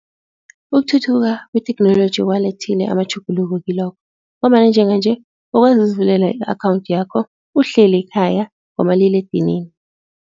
Ukuthuthuka kwetheknoloji kuwalethile amatjhuguluko kilokho ngombana njenganje ukwazi ukuzivulela i-akhawunthi yakho uhleli ekhaya ngomaliledinini.